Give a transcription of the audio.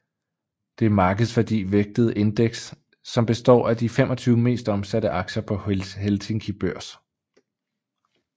Det er markedsværdi vægtet indeks som består af de 25 mest omsatte aktier på Helsinki Børs